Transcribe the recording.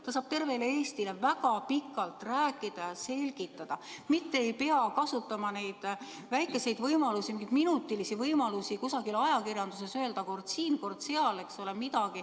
Ta saab tervele Eestile väga pikalt rääkida, selgitada, mitte ei pea kasutama neid väikseid võimalusi, minutilisi võimalusi kusagil ajakirjanduses öelda midagi kord siin, kord seal.